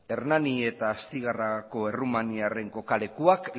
hernani eta astigarragako errumaniarren kokalekuak